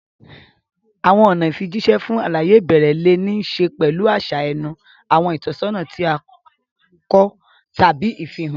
Àwọn ọ̀nà ìfijíṣẹ́ fún àlàyé ìbẹ̀rẹ̀ lè ní í ṣe pẹ̀lú àṣà ẹnu, àwọn ìtọ́sọ́nà tí a kọ, tàbí ìfihàn.